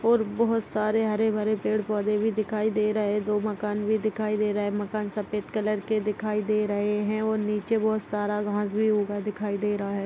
और बहुत सरे हरे-हरे पेड़-पौधे भी दिखाई दे रहे है दो मकान भी दिखाई दे रहे है मकान सफ़ेद कलर के दिखाई दे रहे है और नीचे बहुत सारा घास भी उगा दिखाई दे रहा है।